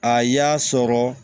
A y'a sɔrɔ